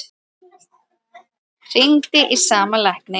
Hringdi í sama lækni